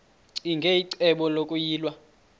ccinge icebo lokuyilwa